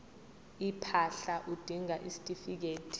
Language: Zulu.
impahla udinga isitifikedi